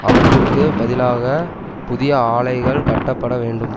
அவற்றிற்கு பதிலாக புதிய ஆலைகள் கட்டப்பட வேண்டும்